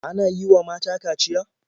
Ana yi wa mata kaciya?